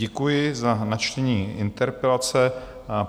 Děkuji za načtení interpelace.